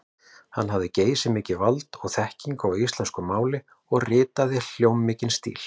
Hann hafði geysimikið vald og þekkingu á íslensku máli og ritaði hljómmikinn stíl.